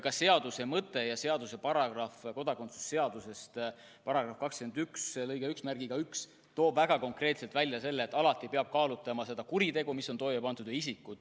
Ka seaduse mõte ja seaduse paragrahv, kodakondsuse seaduse § 21 lõige 11 toob väga konkreetselt välja, et alati peab kaalutlema seda kuritegu, mis on toime pandud.